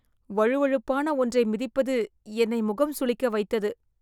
வழுவழுப்பான ஒன்றை மிதிப்பது என்னை முகம் சுளிக்க வைத்தது .